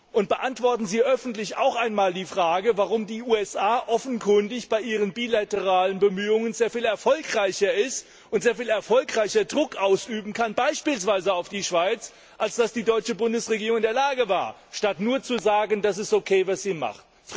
Und beantworten Sie auch einmal öffentlich die Frage, warum die USA offenkundig bei ihren bilateralen Bemühungen sehr viel erfolgreicher sind und sehr viel erfolgreicher Druck ausüben können, beispielsweise auf die Schweiz, als die deutsche Bundesregierung, statt nur zu sagen, es ist okay, was sie macht.